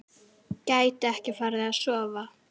Gæti ekki farið að sofa.